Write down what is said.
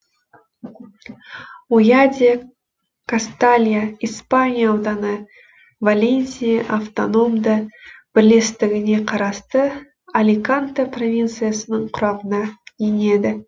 ойя де касталья испания ауданы валенсия автономды бірлестігіне қарасты аликанте провинциясының құрамына енеді